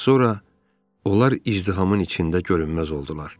Az sonra onlar izdihamın içində görünməz oldular.